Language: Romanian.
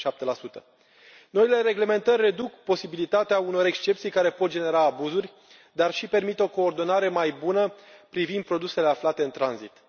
37 Noile reglementări reduc posibilitatea unor excepții care pot genera abuzuri, dar și permit o coordonare mai bună privind produsele aflate în tranzit.